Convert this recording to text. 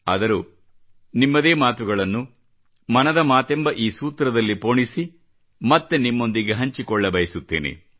ಆದರೂ ನಿಮ್ಮದೇ ಮಾತುಗಳನ್ನು ಮನದ ಮಾತೆಂಬ ಈ ಸೂತ್ರದಲ್ಲಿ ಪೋಣಿಸಿ ಮತ್ತೆ ನಿಮ್ಮೊಂದಿಗೆ ಹಂಚಿಕೊಳ್ಳಬಯಸುತ್ತೇನೆ